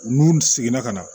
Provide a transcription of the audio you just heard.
N'u seginna ka na